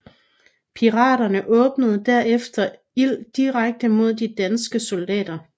Piraterne åbnede derefter ild direkte mod de danske soldater